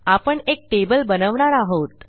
आपण एक टेबल बनवणार आहोत